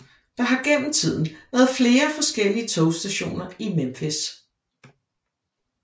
Der har gennem tiden været flere forskellige togstationer i Memphis